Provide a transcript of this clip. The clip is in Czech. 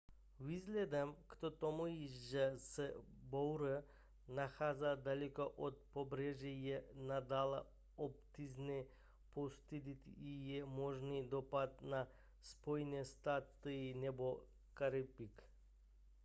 vzhledem k tomu že se bouře nachází daleko od pobřeží je nadále obtížné posoudit její možný dopad na spojené státy nebo karibik